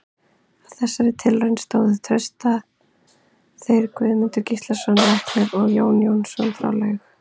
Að þessari tilraun stóðu auk Trausta þeir Guðmundur Gíslason læknir og Jón Jónsson frá Laug.